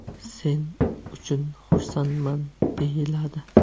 Sen uchun xursandman”, deyiladi.